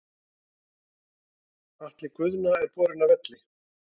Atli Guðna er borinn af velli.